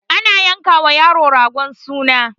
ana yanka wa yaro ragon suna